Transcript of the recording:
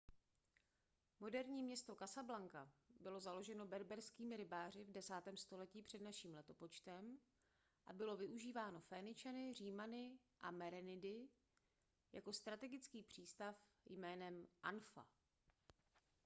moderní město casablanca bylo založeno berberskými rybáři v 10. století př n l a bylo využíváno féničany římany a merenidy jako strategický přístav jménem anfa